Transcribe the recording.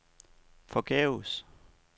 forgæves